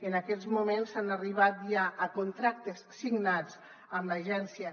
en aquests moments s’ha arribat ja a contractes signats amb l’agència